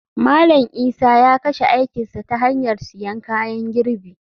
Malam Isa ya kashe aikin sa ta hanyar siyan kayan girbi.